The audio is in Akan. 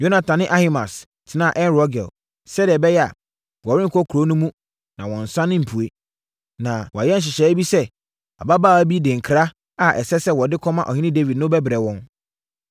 Yonatan ne Ahimaas tenaa En-Rogel, sɛdeɛ ɛbɛyɛ a, wɔrenkɔ kuro no mu na wɔnnsane mpue. Na wɔayɛ nhyehyɛeɛ bi sɛ abaawa bi de nkra a ɛsɛ sɛ wɔde kɔma ɔhene Dawid no bɛbrɛ wɔn.